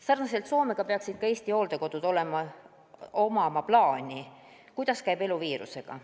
Sarnaselt Soomega peaks ka Eesti hooldekodudel olema plaan, kuidas käib elu viirusega.